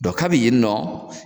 kabi yen nɔ